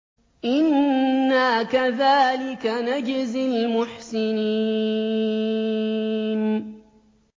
إِنَّا كَذَٰلِكَ نَجْزِي الْمُحْسِنِينَ